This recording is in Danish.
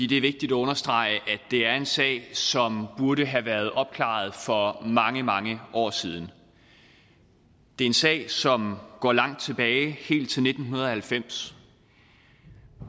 det er vigtigt at understrege at det er en sag som burde have været opklaret for mange mange år siden det er en sag som går langt tilbage helt til nitten halvfems